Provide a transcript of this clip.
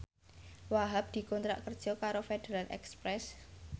Wahhab dikontrak kerja karo Federal Express